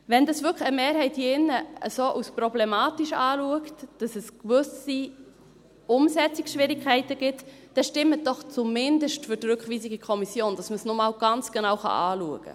Wenn das wirklich eine Mehrheit hier drin als so problematisch anschaut, dass es gewisse Umsetzungsschwierigkeiten gibt, dann stimmen Sie doch zumindest für die Rückweisung in die Kommission, damit man es noch einmal ganz genau anschauen kann.